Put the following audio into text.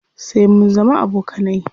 Sai mun zama abokanai.